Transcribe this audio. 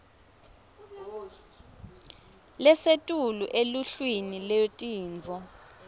lesetulu eluhlwini lwetintfo